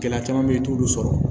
Gɛlɛya caman bɛ yen i t'olu sɔrɔ